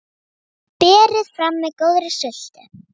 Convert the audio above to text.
Berið fram með góðri sultu.